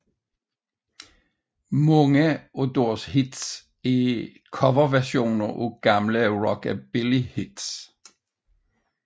Mange af deres hits er coverversioner af gamle rockabillyhits